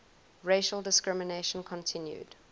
racial discrimination continued